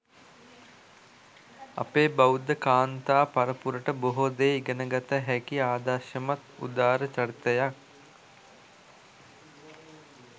අපේ බෞද්ධ කාන්තා පරපුරට බොහෝ දේ ඉගෙනගත හැකි ආදර්ශමත් උදාර චරිතයක්.